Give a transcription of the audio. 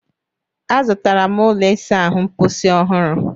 Azụtara m ụlọ ịsa ahụ mposi ọhụrụ